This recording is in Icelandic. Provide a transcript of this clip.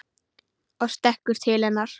Og stekkur til hennar.